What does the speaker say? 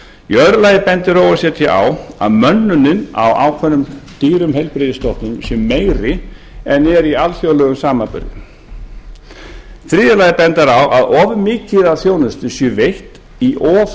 annars þá bendir o e c d á að mönnun á ákveðnum dýrum heilbrigðisstofnunum sé meiri en er í alþjóðlegum samanburði þriðja þá bendir o e c d á að of mikið af þjónustu sé veitt í of